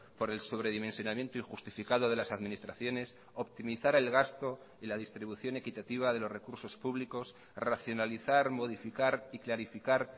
por el sobredimensionamiento injustificado de las administraciones optimizar el gasto y la distribución equitativa de los recursos públicos racionalizar modificar y clarificar